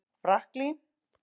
Franklín